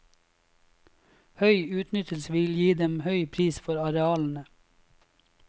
Høy utnyttelse vil gi dem høy pris for arealene.